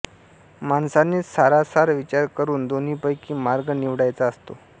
माणसानेच सारासार विचार करून दोन्हीपैकी मार्ग निवडायचा असतो